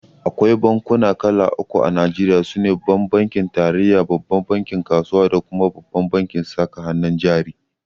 Akwai bankuna kala uku a Najeriya. sune Babban bankin tarayya, bankin kasuwa da kuma bankin saka hannun jari.